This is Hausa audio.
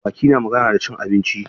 Baki na magana da cin abinci.